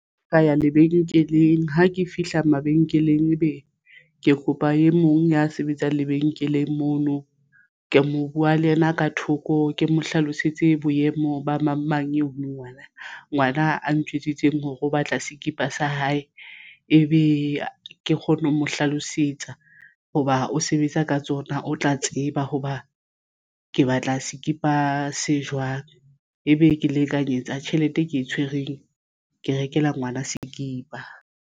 Ho ya lebenkeleng ha ke fihla mabenkeleng ebe ke kopa e mong ya sebetsang lebenkeleng mono ke mo buwa le yena ka thoko ke mo hlalosetse boemo ba mang mang eno ngwana a ntjwetsitse hore o batla sekipa sa hae ebe ke kgonne ho mo hlalosetsa hoba o sebetsa ka tsona o tla tseba hoba ke batla sekipa se jwang. Ebe ke lekanyetsa tjhelete e ke e tshwereng ke rekela ngwana sekipa.